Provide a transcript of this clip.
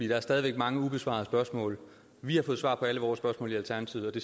der er stadig væk mange ubesvarede spørgsmål vi har fået svar på alle vores spørgsmål i alternativet og det